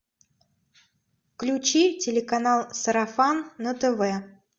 включи телеканал сарафан на тв